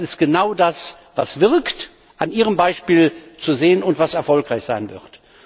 Das ist genau das, was wirkt das ist an Ihrem Beispiel zu sehen und was erfolgreich sein wird.